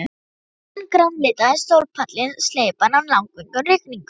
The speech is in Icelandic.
Ég fann grænleitan sólpallinn sleipan af langvinnum rigningum.